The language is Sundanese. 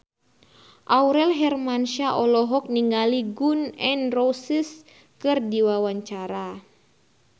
Aurel Hermansyah olohok ningali Gun N Roses keur diwawancara